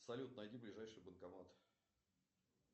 салют найди ближайший банкомат